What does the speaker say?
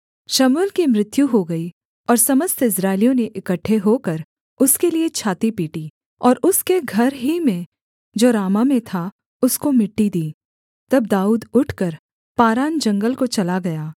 शमूएल की मृत्यु हो गई और समस्त इस्राएलियों ने इकट्ठे होकर उसके लिये छाती पीटी और उसके घर ही में जो रामाह में था उसको मिट्टी दी तब दाऊद उठकर पारान जंगल को चला गया